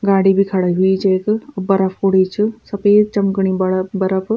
गाडी भी खड़ी हुईं च यख और बरफ पुड़ी च सफ़ेद चमकणी बड़फ बरफ।